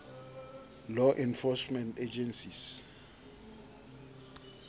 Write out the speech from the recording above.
law enforcement agencies